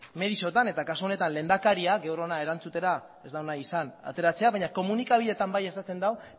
mediotan eta kasu honetan lehendakaria gaur hona erantzutera ez da ona izan ateratzera baina komunikabideetan bai azaltzen du